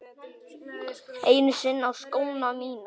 Einu sinni á skóna mína.